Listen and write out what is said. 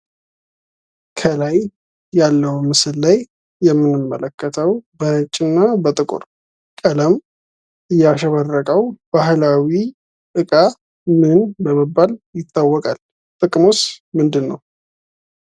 ከላይ ያለው ምስል ላይ የምንመለከተው በነጭ እና በጥቁር ቀለም ያሸበረቀው የባህላዊ ዕቃ ምን በመባል ይታወቃል? ጥቅሙስ ምንድነው?